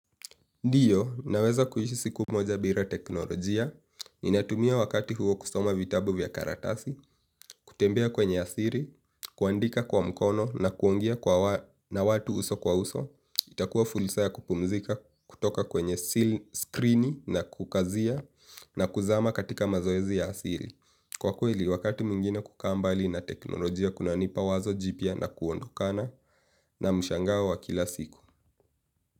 Ndiyo, naweza kuishi siku moja bira teknolojia, ni natumia wakati huo kusoma vitabu vya karatasi, kutembea kwenye asiri, kuandika kwa mkono na kuongea kwa na watu uso kwa uso itakuwa fursa ya kupumzika kutoka kwenye skrini na kukazia na kuzama katika mazoezi ya asili. Kwa kweli, wakati mwingine kukaambali na teknolojia kunanipa wazo jipya na kuondokana na mshangao wa kila siku.